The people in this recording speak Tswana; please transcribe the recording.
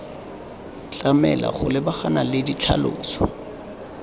tlamelwa go lebagana le ditlhaloso